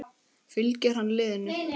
Fylgir hann liðinu?